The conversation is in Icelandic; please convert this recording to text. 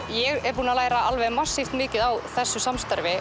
ég er búin að læra massíft mikið á þessu samstarfi